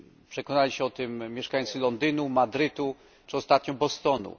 Przekonali się o tym mieszkańcy Londynu, Madrytu czy ostatnio Bostonu.